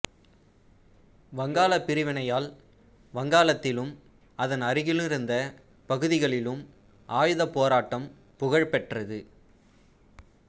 வங்காளப் பிரிவினையால் வங்காளத்திலும் அதன் அருகிலிருந்த பகுதிகளிலும் ஆயுதப் போராட்டம் புகழ்பெற்றது